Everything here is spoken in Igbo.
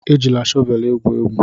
Ejila shọvelụ egwu egwu!